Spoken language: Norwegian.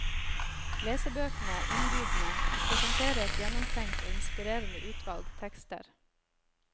Lesebøkene er innbydende, og presenterer et gjennomtenkt og inspirerende utvalg tekster.